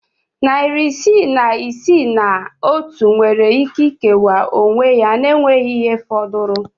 Narị isii na iri isii na otu nwere ike ikewa onwe ya na enweghị ihe fọdụrụnụ.